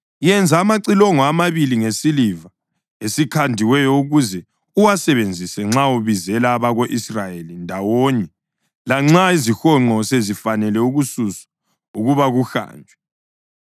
“Yenza amacilongo amabili ngesiliva esikhandiweyo, ukuze uwasebenzise nxa ubizela abako-Israyeli ndawonye lanxa izihonqo sezifanele ukususwa ukuba kuhanjwe.